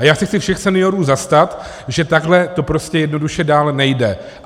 A já se chci všech seniorů zastat, že takhle to prostě jednoduše dál nejde.